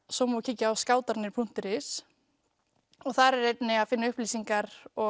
svo má kíkja á skátarnir punktur is og þar er að finna upplýsingar og